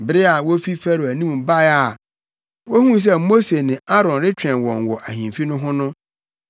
Bere a wofi Farao anim bae a wohuu sɛ Mose ne Aaron retwɛn wɔn wɔ ahemfi no ho no,